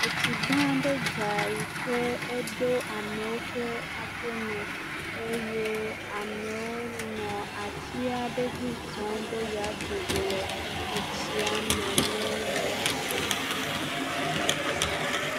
Etsi gã aɖe dza yi ke eɖo ameawo ƒe aƒeme eye ameawo nɔ atsi aɖe dzi zɔm be yewoado go le etsia me ne yewoa dzo.